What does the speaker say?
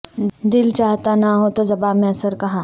دل چاہتا نہ ہو تو زباں میں اثر کہاں